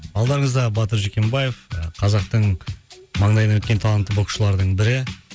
алдарыңызда батыр жүкембаев ы қазақтың маңдайына біткен талантты боксшылардың бірі